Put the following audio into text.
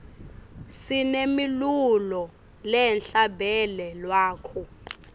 sinemilulo lehla bele lwako